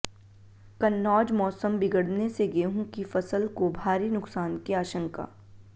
कन्नौजः मौसम बिगड़ने से गेंहू की फसल को भारी नुकसान की आशंका